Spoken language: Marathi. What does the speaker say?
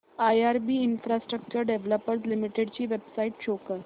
आयआरबी इन्फ्रास्ट्रक्चर डेव्हलपर्स लिमिटेड ची वेबसाइट शो करा